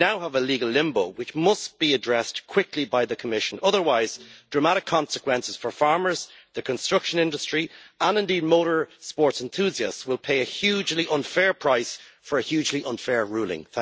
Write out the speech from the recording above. We now have a legal limbo, which must be addressed quickly by the Commission, otherwise it will have dramatic consequences for farmers, the construction industry and indeed motor sports enthusiasts, who will pay a hugely unfair price for a hugely unfair ruling.